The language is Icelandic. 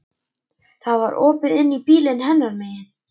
Það var opið inn í bílinn hennar megin.